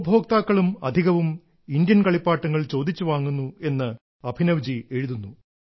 ഉപഭോക്താക്കളും അധികവും ഇന്ത്യൻ കളിപ്പാട്ടങ്ങൾ ചോദിച്ചു വാങ്ങുന്നു എന്ന് അഭിനവ്ജി എഴുതുന്നു